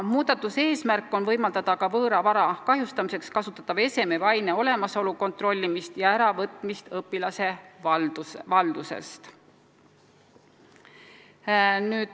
Muudatuse eesmärk on võimaldada ka võõra vara kahjustamiseks kasutatava eseme või aine olemasolu kontrollimist ja äravõtmist õpilase valdusest.